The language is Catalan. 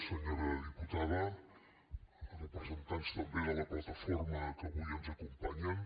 senyora diputada representants també de la plataforma que avui ens acompanyen